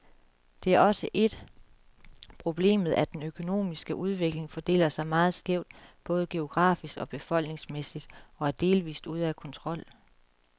Det er også et problemet, at den økonomiske udvikling fordeler sig meget skævt, både geografisk og befolkningsmæssigt, og er delvist ude af kontrol.